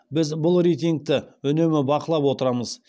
біз бұл рейтингті үнемі бақылап отырамыз